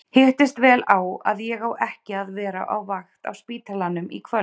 Hittist vel á að ég á ekki að vera á vakt á spítalanum í kvöld!